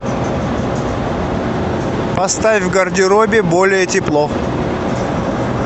поставь в гардеробе более тепло